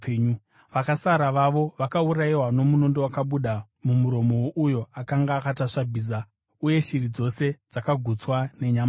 Vakasara vavo vakaurayiwa nomunondo wakabuda mumuromo wouyo akanga akatasva bhiza, uye shiri dzose dzakagutswa nenyama yavo.